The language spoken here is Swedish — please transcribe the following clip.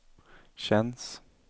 känns